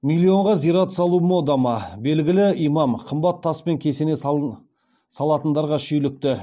миллионға зират салу мода ма белгілі имам қымбат таспен кесене салатындарға шүйлікті